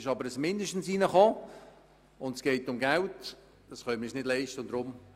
Nun ist das Wort «mindestens» hinzugekommen, und es geht um Geld, welches wir uns nicht leisten können auszugeben.